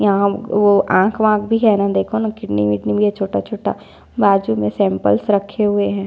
यहाँ वो आंख वाख भी है न देखो न किडनी विदनी भी है छोटा छोटा बाजु में सैम्पल्स रखे हुए है।